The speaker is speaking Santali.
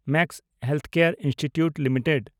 Max healthcare institute limited